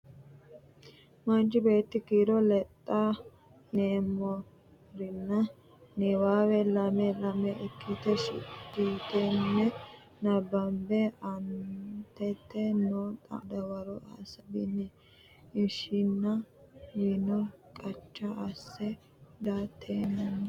Manchi beetti kiiro lexxa yineemmorina? niwaawe lame lame ikkitine seekkitine nabbabbine aantete noo xa’mora dawaro Hasaabbini? Ishinaawino Qacha asse, giiratenninna hunatenni umonke addi Ishinu Hiikkinni Kalaqamanno?